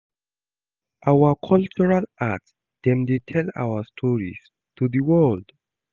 Our cultural art dem dey tell our stories to di world.